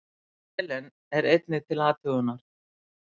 Selen er einnig til athugunar.